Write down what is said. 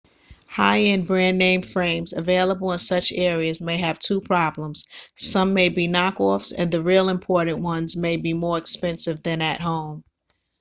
high-end brand-name frames available in such areas may have two problems some may be knock-offs and the real imported ones may be more expensive than at home